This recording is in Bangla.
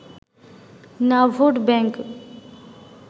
না ভোট ব্যাঙ্ক